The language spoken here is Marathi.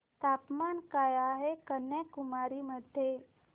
तापमान काय आहे कन्याकुमारी मध्ये